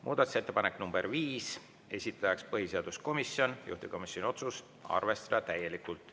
Muudatusettepanek nr 5, esitajaks põhiseaduskomisjon, juhtivkomisjoni otsus: arvestada täielikult.